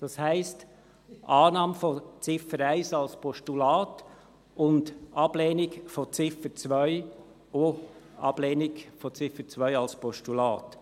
Das heisst, Annahme von Ziffer 1 als Postulat und Ablehnung von Ziffer 2, auch als Postulat.